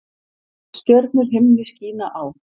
Stjörnur himni skína á.